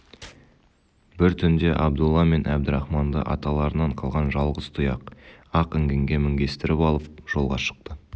бір түнде абдолла мен әбдірахманды аталарынан қалған жалғыз тұяқ ақ інгенге мінгестіріп алып жолға шықты